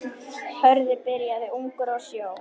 Hörður byrjaði ungur á sjó.